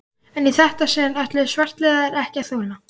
En í þetta sinn ætluðu svartliðar ekki að þola